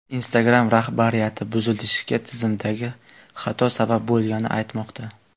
Instagram rahbariyati buzilishga tizimdagi xato sabab bo‘lganini aytmoqda.